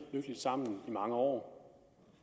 lykkeligt sammen i mange år